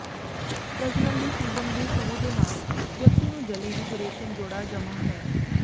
ਪ੍ਰਜਨਨ ਦੇ ਸੀਜ਼ਨ ਦੇ ਸ਼ੁਰੂ ਦੇ ਨਾਲ ਵਿਅਕਤੀ ਨੂੰ ਜਲੀ ਵਿੱਚ ਰੇਸ਼ਮ ਜੋੜਾ ਜਮ੍ਹਾ ਹੈ